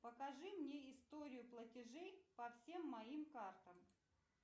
покажи мне историю платежей по всем моим картам